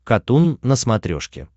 катун на смотрешке